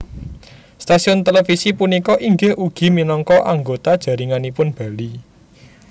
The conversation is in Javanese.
Stasiun televisi punika inggih ugi minangka anggota jaringanipun Bali